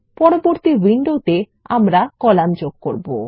পরবর্তী উইন্ডোতে আমরা কলাম যোগ করব